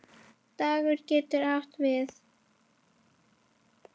Dagur getur átt við